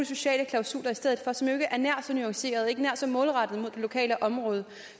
sociale klausuler i stedet for som jo ikke er nær så nuancerede ikke nær så målrettede mod det lokale område